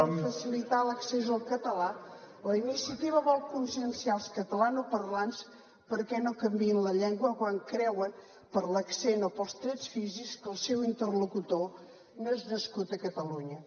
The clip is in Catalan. per facilitar l’accés al català la iniciativa vol conscienciar els catalanoparlants perquè no canviïn la llengua quan creuen per l’accent o pels trets físics que el seu interlocutor no és nascut a catalunya